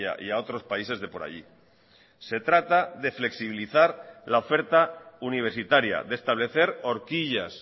y a otros países de por allí se trata de flexibilizar la oferta universitaria de establecer horquillas